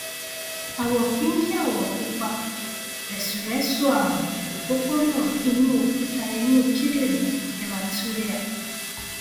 àwọ pínkìàwọ pupa rẹsúrẹsú ààrùn òpópónà inú òkúta inú kíndìnrín hematuria